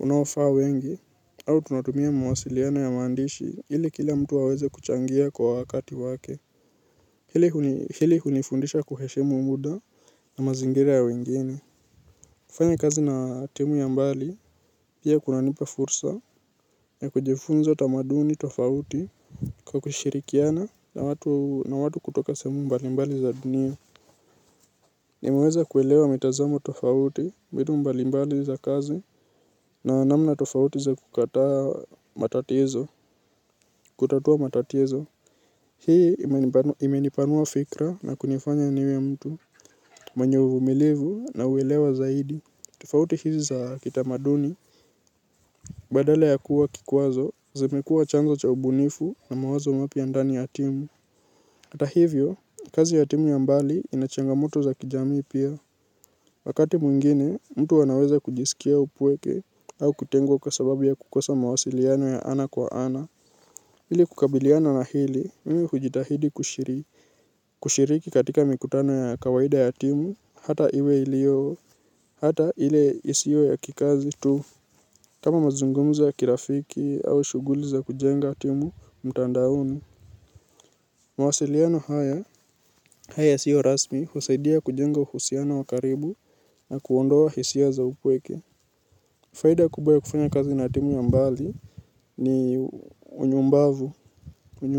unaofaa wengi au tunatumia mawasiliano ya maandishi ili kila mtu aweze kuchangia kwa wakati wake. Hili hunifundisha kuheshimu muda na mazingira ya wengine. Kufanya kazi na timu ya mbali pia kunanipa fursa ya kujifunza tamaduni tofauti. Kwa kushirikiana na watu kutoka sehemu mbalimbali za dunia nimeweza kuelewa mitazamo tofauti mbinu mbalimbali za kazi na namna tofauti za kukataa matatizo, kutatua matatizo. Hii imenipanua fikra na kunifanya niwe mtu, mwenye uvumilivu na uelewa zaidi, tofauti hizi za kitamaduni. Badala ya kuwa kikwazo, zimekuwa chanzo cha ubunifu na mawazo mapya ndani ya timu hata hivyo, kazi ya timu ya mbali ina changamoto za kijamii pia. Wakati mwingine, mtu anaweza kujisikia upweke au kutengwa kwa sababu ya kukosa mawasiliano ya ana kwa ana. Ili kukabiliana na hili, mimi hujitahidi kushiriki katika mikutano ya kawaida ya timu, hata iwe iliyo, hata ile isiyo ya kikazi tu. Kama mazungumzo ya kirafiki au shughuli za kujenga timu mtandaoni. Mawasiliano haya haya sio rasmi husaidia kujenga uhusiano wa karibu na kuondoa hisia za upweke. Faida kubwa ya kufanya kazi na timu ya mbali ni unyumbavu.